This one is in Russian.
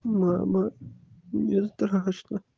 мама мне страшно